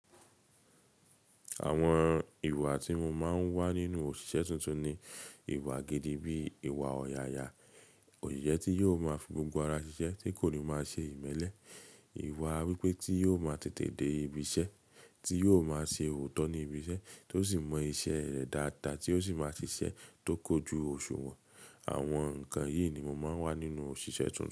Àwọn ìwà tí mo máa ń wá nínú òṣìṣẹ́ tuntun ni ìwà gidi bí ìwà ọ̀yààyà, oṣiṣẹ tí yóò máa fi gbogbo ara ṣiṣẹ́ tí kò ní máa ṣe ìmẹ́lẹ́, ìwà wípé tí yóò máa tètè dé ibiṣẹ́, tí yóò máa ṣe òótọ́ ní ibiṣẹ́, tó sì mọ iṣẹ́ rẹ̀ dáadáa tí ó sì máa ṣiṣẹ́ tó kójú òṣùwọ̀n. Àwọn nǹkan yìí ni mo máa ń wá nínú òṣìṣẹ́ tuntun.